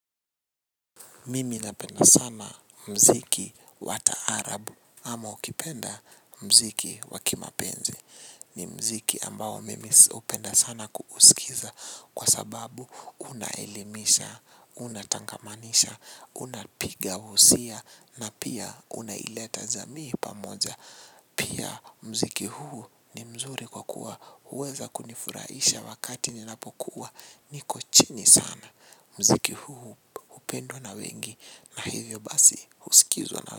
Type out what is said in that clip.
Mimi napenda sana mziki wa taarabu ama ukipenda mziki wa kimapenzi. Ni mziki ambao mimi hupenda sana kusikiza kwa sababu unaelimisha, unatangamanisha, unapiga usia na pia unaileta jamii pamoja. Pia mziki huu ni mzuri kwa kuwa huweza kunifuraisha wakati ninapokuwa niko chini sana. Mziki huu hupendwa na wengi na hivyo basi huskizwa na.